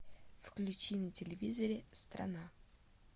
включи на телевизоре страна